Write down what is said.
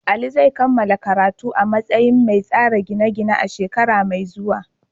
Ali zai kammala karatu a matsayin mai tsara gine-gine a shekara mai zuwa.